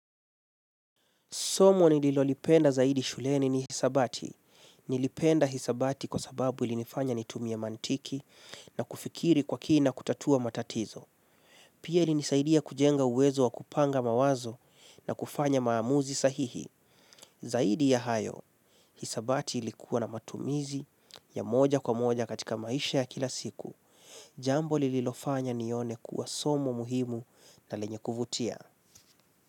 Somo nililolipenda zaidi shuleni ni hisabati. Nilipenda hisabati kwa sababu ilinifanya nitumie mantiki na kufikiri kwa kina kutatua matatizo. Pia ilinisaidia kujenga uwezo wa kupanga mawazo na kufanya maamuzi sahihi. Zaidi ya hayo, hisabati ilikuwa na matumizi ya moja kwa moja katika maisha ya kila siku. Jambo lililofanya nione kuwa somo muhimu na lenye kuvutia.